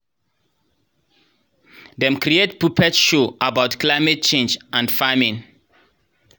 dem create puppet show about climate change and farming